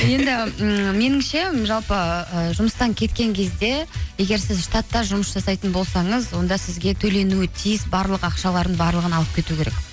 енді ммм меніңше жалпы ы жұмыстан кеткен кезде егер сіз штатта жұмыс жасайтын болсаңыз онда сізге төленуі тиіс барлық ақшаларын барлығын алып кету керек